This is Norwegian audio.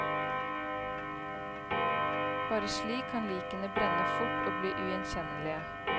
Bare slik kan likene brenne fort og bli ugjenkjennelige.